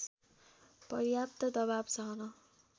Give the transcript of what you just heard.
पर्याप्त दबाव सहन